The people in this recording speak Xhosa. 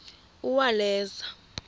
uwaleza